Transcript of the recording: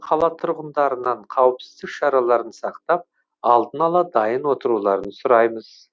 қала тұрғындарынан қауіпсіздік шараларын сақтап алдын ала дайын отыруларын сұраймыз